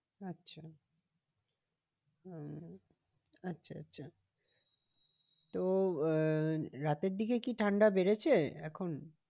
আচ্ছা হম আচ্ছা আচ্ছা তো আহ রাতের দিকে কি ঠান্ডা বেড়েছে এখন?